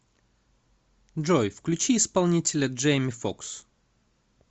джой включи исполнителя джейми фокс